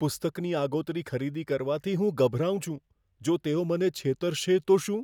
પુસ્તકની આગોતરી ખરીદી કરવાથી હું ગભરાઉં છું, જો તેઓ મને છેતરશે તો શું?